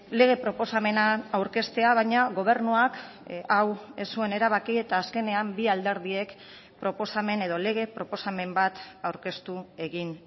lege proposamena aurkeztea baina gobernuak hau ez zuen erabaki eta azkenean bi alderdiek proposamen edo lege proposamen bat aurkeztu egin